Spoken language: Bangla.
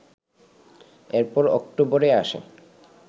এরপর অক্টোবরে আসে